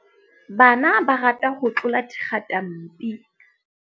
Bana ba rata ho tlola dikgatampi.